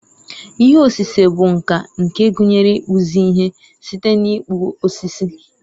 ihe osise bụ nka nke gụnyere ịkpụzi ihe site n'ịkpụ osisi